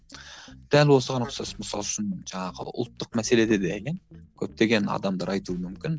дәл осыған ұқсас мысалы үшін жаңағы ұлттық мәселеде де иә көптеген адамдар айтуы мүмкін